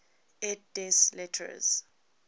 et des lettres